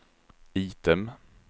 item